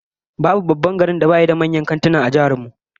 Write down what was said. Babu babban garin da bashi da manyan kantuna a jihar mu